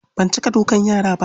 Ban cika dukan yara ba.